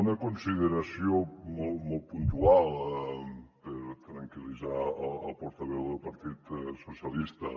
una consideració molt puntual per tranquil·litzar el portaveu del partit socialistes